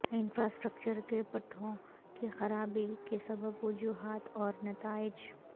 infrastructure کے پٹھوں کی خرابی کے سبب وجوہات اور نتائج